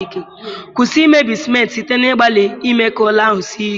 Kwụsị imebi simenti site n'ịgbalị ime ka ụlọ ahụ sie ike.